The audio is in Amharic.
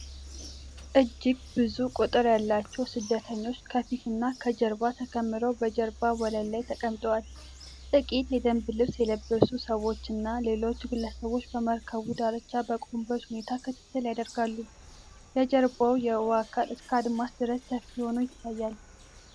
እጅግ ብዙ ቁጥር ያላቸው ስደተኞች ከፊትና ከጀርባ ተከምረው በጀልባ ወለል ላይ ተቀምጠዋል። ጥቂት የደንብ ልብስ የለበሱ ሰዎችና ሌሎች ግለሰቦች በመርከቡ ዳርቻ በቆሙበት ሁኔታ ክትትል ያደርጋሉ። የበስተጀርባው የውሃ አካል እስከ አድማስ ድረስ ሰፊ ሆኖ ይታያል።